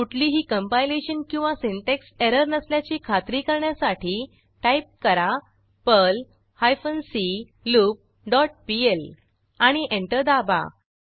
कुठलीही कंपायलेशन किंवा syntax error नसल्याची खात्री करण्यासाठी टाईप करा Perl hyphen C loop dot PL आणि एंटर दाबा